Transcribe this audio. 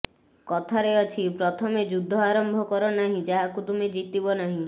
କଥାରେ ଅଛି ପ୍ରତମେ ଯୁଦ୍ଧ ଆରମ୍ଭ କର ନାହିଁ ଯାହାକୁ ତୁମେ ଜିତିବ ନାହିଁ